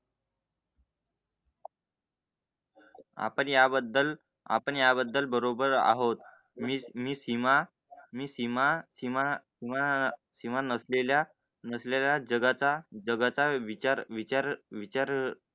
आपल्या बद्दल आपण याबद्दल बरोबर आहोत. मी सीमा मी सीमा सीमा नसलेल्या नसलेला जगता जगता, विचार, विचार